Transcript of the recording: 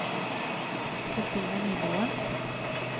Kristina Nymoen